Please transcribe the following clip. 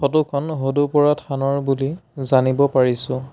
Photo খন হুদুপৰা থানৰ বুলি জানিব পাৰিছোঁ।